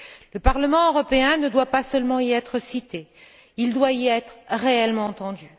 Le Parlement européen ne doit pas seulement y être cité, il doit y être réellement entendu.